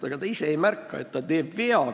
Ta ise ei märka, et ta teeb seda viga.